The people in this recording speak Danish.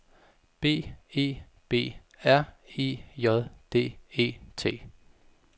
B E B R E J D E T